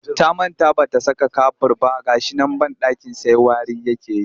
Ta manta ba ta saka kafur ba ga shi nan banɗakin sai wari yake yi